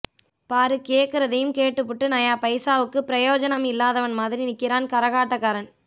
பாரு கேக்குறதையும் கேட்டுபுட்டு நையா பைசாவுக்கு ப்ரயோஜனம் இல்லாதவன் மாதிரி நிக்கிறான் கரகாட்டக்காரன்